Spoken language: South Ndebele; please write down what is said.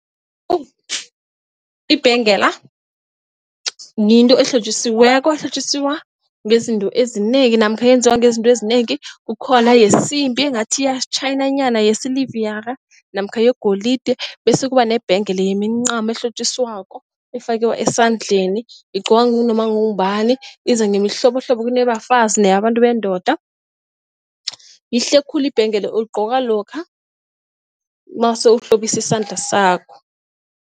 Ibhengela yinto ehlotjisiweko, ehlotjiswa ngezinto ezinengi namkha yenziwa ngezinto ezinengi kukhona yesimbi engathi itjhayinanyana yesilivara namkha yegolide. Bese kuba nebhanga le yemincamo elihlotjiswako ifakwa esandleni igqokwa nanoma ngongubani iza ngemihlobohlobo, kuneyabafazi neyabantu bendoda. Yihle khulu ibhengela uyigqoka lokha mawuse uhlobisa isandla sakho.